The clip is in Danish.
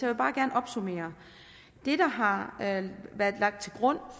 jeg bare gerne opsummere det der har været lagt til grund